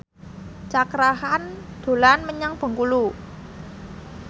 Cakra Khan dolan menyang Bengkulu